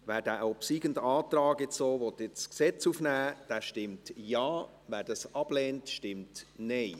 Wer den obsiegenden Antrag jetzt so ins Gesetz aufnehmen will, stimmt Ja, wer das ablehnt, stimmt Nein.